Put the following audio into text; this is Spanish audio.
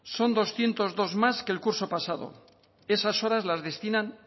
son doscientos dos más que el curso pasado esas horas las destinan